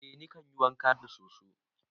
Eh nikan yi wanka da soso.